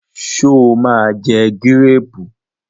Sọ ma jẹ gírèrù?